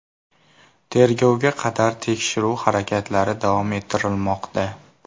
Tergovga qadar tekshiruv harakatlari davom ettirilmoqda.